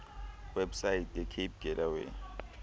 website yecape gateway